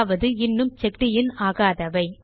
அதாவது இன்னும் checked in ஆகாதவை